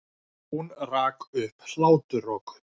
Hún rak upp hláturroku.